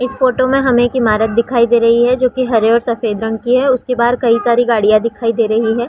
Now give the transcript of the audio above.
इस फोटो मे हमें एक इमारत दिखाई दे रही है जो की हरे और सफ़ेद रंग की है उसके बाहर के साइड गाड़िया दिखाई दे रही है ।